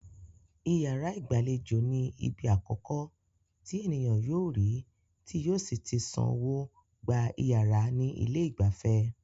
Iyàrá ìgbàlejò ní ibi akọ̀kọ́ tí ènìyàn yóò rí tí yóò sí tí san owó gba iyàrá ní ilé ìgbafẹ́.